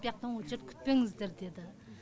бұ яқтан очерт күтпеңіздер деді